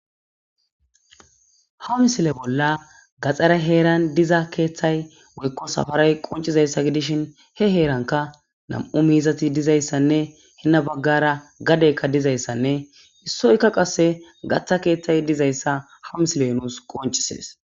ha misile bolla gaxxaray heeran diza keeththay woykko safaray qoncizayssa gidishin he heeranka nam7u miizati dizayssanne hinna baggara gadeykka dizayssanne issoykka qasse gaththa keeththay dizayssa ha misiley nuus qoncisees